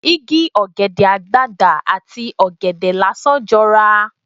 Igi ọ̀gẹ̀dẹ̀ àgbagbà ati ọ̀gẹ̀dẹ̀ lásán jọra.